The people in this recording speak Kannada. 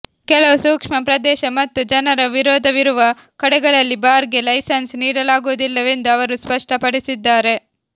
ಕೆಲವು ಸೂಕ್ಷ್ಮ ಪ್ರದೇಶ ಮತ್ತು ಜನರ ವಿರೋಧವಿರುವ ಕಡೆಗಳಲ್ಲಿ ಬಾರ್ ಗೆ ಲೈಸನ್ಸ್ ನೀಡಲಾಗುವುದಿಲ್ಲವೆಂದು ಅವರು ಸ್ಪಷ್ಟ ಪಡಿಸಿದ್ದಾರೆ